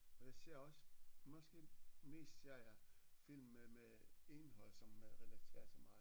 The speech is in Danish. Og jeg ser også måske mest serier film med med indhold som relaterer til mig